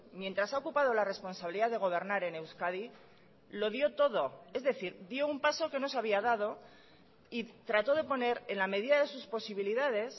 mientras ha ocupado la responsabilidad de gobernar en euskadi lo dio todo es decir dio un paso que no se había dado y trató de poner en la medida de sus posibilidades